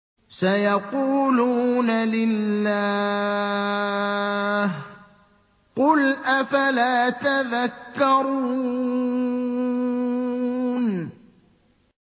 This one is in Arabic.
سَيَقُولُونَ لِلَّهِ ۚ قُلْ أَفَلَا تَذَكَّرُونَ